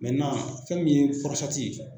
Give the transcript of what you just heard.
fɛn min ye ye.